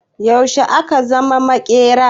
Yaushe ka zama maƙera?